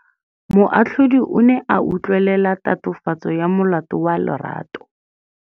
Moatlhodi o ne a utlwelela tatofatsô ya molato wa Lerato.